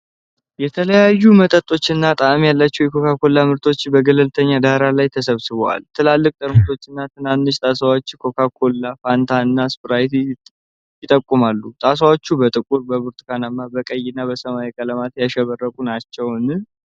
የተለያዩ መጠኖች እና ጣዕም ያላቸው የኮካ ኮላ ምርቶች በገለልተኛ ዳራ ላይ ተሰብስበዋል። ትላልቅ ጠርሙሶች እና ትናንሽ ጣሳዎች ኮካ ኮላ፣ ፋንታና ስፕራይት ይጠቁማሉ። ጣሳዎቹ በጥቁር፣ በብርቱካናማ፣ በቀይ እና በሰማያዊ ቀለማት ያሸበረቁ ናቸውን?